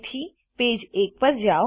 તેથી પેજ એક પર જાઓ